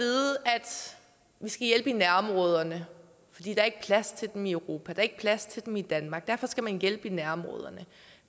skal hjælpe i nærområderne fordi der ikke er plads til dem i europa der er ikke plads til dem i danmark derfor skal man hjælpe i nærområderne